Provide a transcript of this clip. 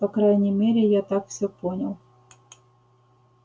по крайней мере я так всё понял